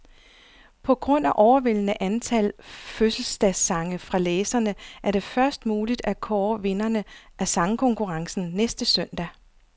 På grund af overvældende antal fødselsdagssange fra læserne, er det først muligt at kåre vinderne af sangkonkurrencen næste søndag.